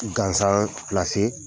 Gansan